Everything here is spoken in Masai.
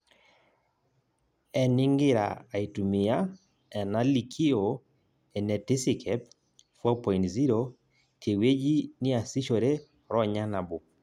Eningira aitumia enalikioo enetisikep 4.0: tewueji niasishore ronya nabo.